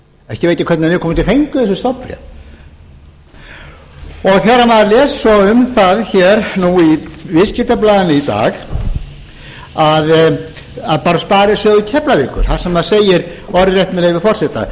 ekki veit ég hvernig viðkomandi fengu þessi stofnbréf þegar maður les svo um það hér nú í viðskiptablaðinu í dag að bara sparisjóður keflavíkur þar sem segir orðrétt með leyfi forseta